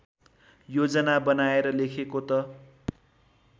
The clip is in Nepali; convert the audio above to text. योजना बनाएर लेखेको त